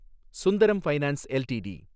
Sundaram finance LTD